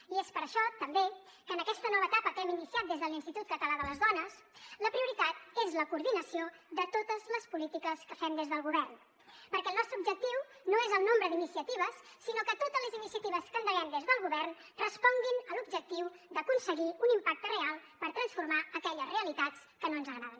i és per això també que en aquesta nova etapa que hem iniciat des de l’institut català de les dones la prioritat és la coordinació de totes les polítiques que fem des del govern perquè el nostre objectiu no és el nombre d’iniciatives sinó que totes les iniciatives que endeguem des del govern responguin a l’objectiu d’aconseguir un impacte real per transformar aquelles realitats que no ens agraden